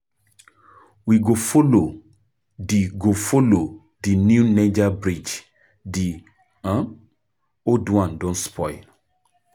We go folo di go folo di new Niger bridge di um old one don spoil.